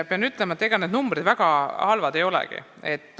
Pean ütlema, et ega need numbrid väga halvad ei olegi.